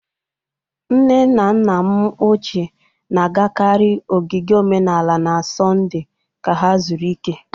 Nne na nna m ochie na-agakarị ogige omenala na Sọnde ka ha zuru ike.